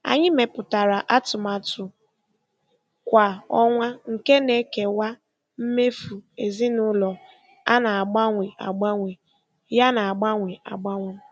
Anyị mepụtara atụmatụ kwa ọnwa nke na-ekewa mmefu ezinụlọ a na-agbanwe agbanwe yana agbanwe agbanwe.